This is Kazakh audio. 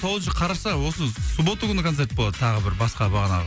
тоғызыншы қараша осы суббота күні концерт болады тағы бір басқа бағанағы